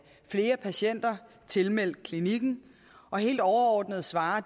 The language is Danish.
flere patienter tilmeldt klinikken og helt overordnet svarer